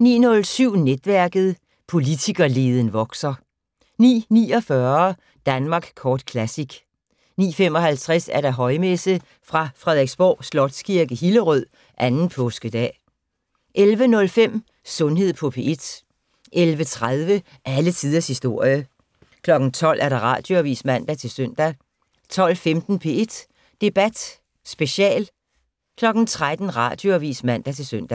09:07: Netværket: Politikerleden vokser 09:49: Danmark Kort Classic 09:55: Højmesse - fra Frederiksborg Slotskirke, Hillerød. 2. Påskedag. 11:05: Sundhed på P1 11:30: Alle tiders historie 12:00: Radioavis (man-søn) 12:15: P1 Debat Special 13:00: Radioavis (man-søn)